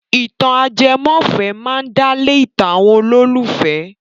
Ìtàn ajẹmọ́fẹ̀ẹ́ máa ń dálé ìtàn àwọn olólùfẹ́.